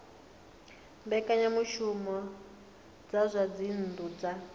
mbekanyamushumo dza zwa dzinnu dza